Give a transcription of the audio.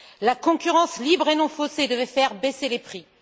La concurrence libre et non faussée devait faire baisser les prix.